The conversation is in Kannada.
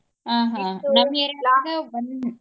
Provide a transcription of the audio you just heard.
ಹಾ ಒಂದ್.